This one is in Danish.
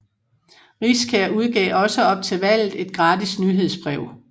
Riskær udgav også op til valget et gratis nyhedsbrev